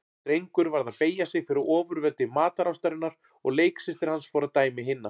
Drengur varð að beygja sig fyrir ofurveldi matarástarinnar og leiksystir hans fór að dæmi hinna.